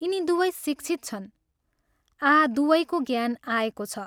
यिनी दुवै शिक्षित छन् आँ दुवैको ज्ञान आएको छ।